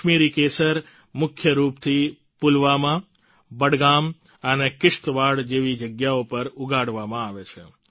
કાશ્મીરી કેસર મુખ્યરૂપથી પુલવામાં બડગામ અને કિશ્તવાડ જેવી જગ્યાઓ પર ઉગાડવામાં આવે છે